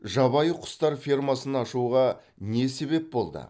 жабайы құстар фермасын ашуға не себеп болды